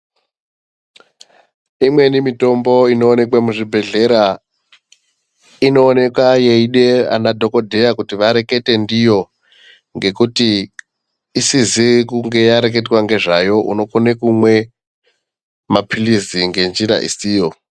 Imweni mitombo inoonekwe muzvibhedhlera inooneka yeide ana dhokodheya kuti warekete ndiyo ngekuti isizi kunge yareketwa ngezva yo unokone kumwe mapilizi ngenzira isiyo.